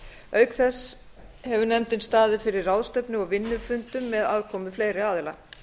auk þess hefur nefndin staðið fyrir ráðstefnu og vinnufundum með aðkomu fleiri aðila